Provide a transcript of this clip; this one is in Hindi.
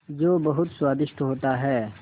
जो बहुत स्वादिष्ट होता है